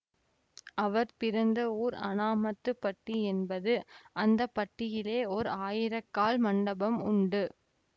அவர் பிறந்த ஊர் அனாமத்துப்பட்டி என்பது அந்த பட்டியிலே ஓர் ஆயிரக்கால் மண்டபம் உண்டு